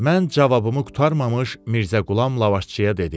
Mən cavabımı qurtarmamış Mirzə Qulam lavaşçıya dedi: